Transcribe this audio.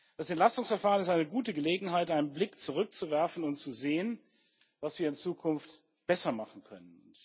Das Entlastungsverfahren ist eine gute Gelegenheit, einen Blick zurückzuwerfen und zu sehen, was wir in Zukunft besser machen können.